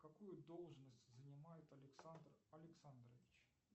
какую должность занимает александр александрович